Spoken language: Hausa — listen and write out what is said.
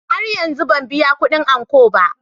Har yanzu ban biya kudin ankon ba.